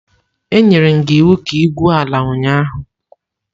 Anyere m gi iwu ka igwuo ala ụnyahụ!